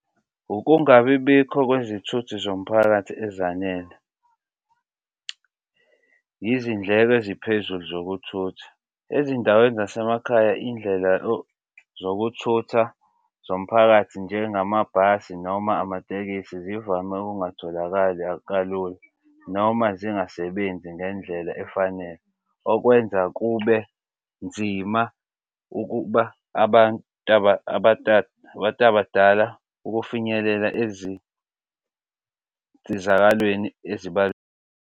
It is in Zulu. Ukungabibikho kwezithuthi zomphakathi ezanele, izindleko eziphezulu zokuthutha. Ezindaweni zasemakhaya izindlela zokuthutha zomphakathi njengamabhasi noma amatekisi zivame ukungatholakali kalula noma zingasebenzi ngendlela efanele. Okwenza kube nzima ukuba abantu abantu abadala ukufinyelela ezinsizakalweni .